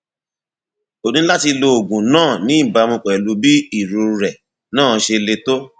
o ní láti lo oògùn náà ní ìbámu pẹlú bí irorẹ náà ṣe le tó